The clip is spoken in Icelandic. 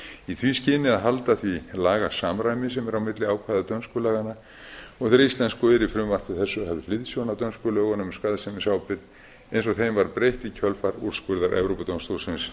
í því skyni að halda því lagasamræmi sem er á milli ákvæða dönsku laganna og þeirra íslensku er í frumvarpi þessu höfð hliðsjón af dönskum lögum um skaðsemisábyrgð eins og þeim var breytt í kjölfar úrskurðar evrópudómstólsins